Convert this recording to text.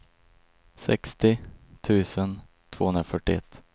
sextio tusen tvåhundrafyrtioett